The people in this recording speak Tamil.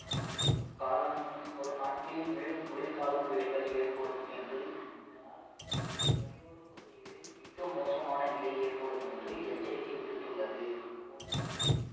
வரும் வரும் நாட்களில் மேலும் குளிர்காலம் புயல்கள் ஏற்படும் என்று இதனால் கரையோர பகுதிகளில் மிக மோசமான நிலை ஏற்படும் என்று எச்சரிக்கை விடுத்துள்ளது போச்சு போங்க